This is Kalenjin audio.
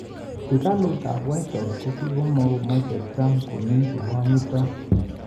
Ikulutab Whitehouse:kimokomache Trump Comey"kokanyiit'.